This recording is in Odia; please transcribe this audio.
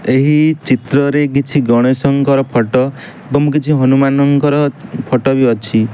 ଏହି ଚିତ୍ର ରେ କିଛି ଗଣେଶ ଙ୍କର ଫଟୋ ଏବଂ କିଛି ହନୁମାନ ଙ୍କର ଫଟୋ ବି ଅଛି।